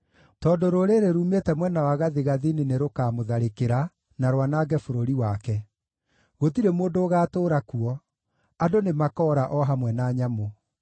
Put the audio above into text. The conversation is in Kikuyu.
Tondũ rũrĩrĩ ruumĩte mwena wa gathigathini nĩrũkamũtharĩkĩra, na rwanange bũrũri wake. Gũtirĩ mũndũ ũgaatũũra kuo; andũ nĩmakoora o hamwe na nyamũ.